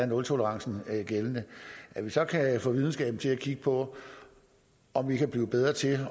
nultolerancen er gældende at vi så kan få videnskaben til at kigge på om man kan blive bedre til